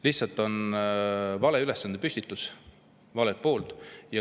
Lihtsalt on tehtud vale ülesandepüstitus, valelt poolt.